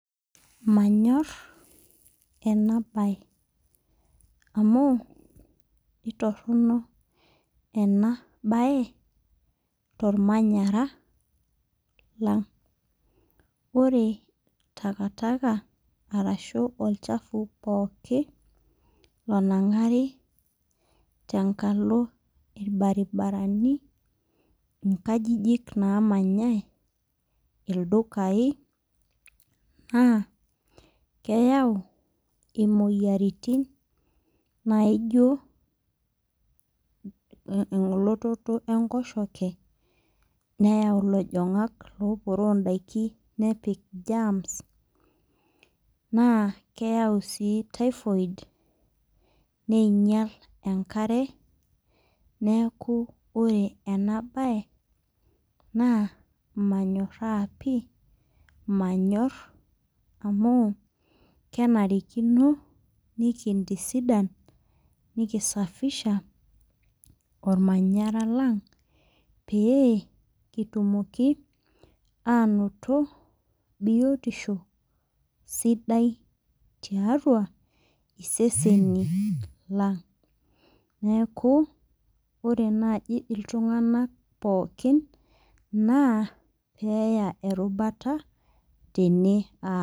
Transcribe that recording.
Manyorr ena baye amu itorrono ena baye tormanyara lang ore taka taka arashu olchafu pooki onang'ari tenkalo irbaribarani inkajijik namanyae ildukai naa keyau imoyiaritin naijio mh elototo enkoshoke neyau ilojong'ak loporoo indaiki nepik germs naa keyau sii typhoid neinyial enkare neeku ore ena baye naa manyorra pii manyorr amu kenarikino nikintisidan nikisafisha olmanyara lang pee kitumoki anoto biotisho sidai tiatua iseseni lang neeku ore naaji iltung'anak pookin naa peeya erubata tene.